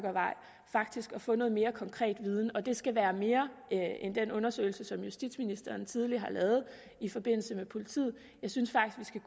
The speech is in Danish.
faktisk at få noget mere konkret viden og det skal være mere end den undersøgelse som justitsministeren tidligere har lavet med politiet jeg synes faktisk